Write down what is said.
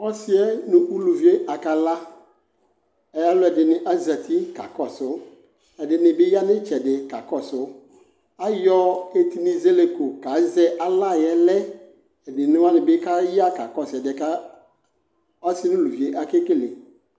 Ɔsɩɛ nʋ uluvie aka la, ɛ alʋɛɩnɩ azati kakɔsʋ, ɛdɩnɩ bɩ ya n'ɩtsɛdɩ kakɔsʋ Ayɔ etinizɛlɛko kazɛ ala yɛ lɛ Ebene nɩ bɩ aya kakɔsʋ ɛdɩɛ ka ɔsɩɛ nuluvie ake kele